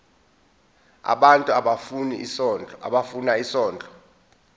abantu abafuna isondlo